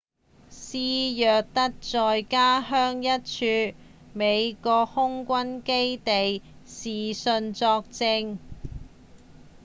施耐德在家鄉的一處美國空軍基地視訊作證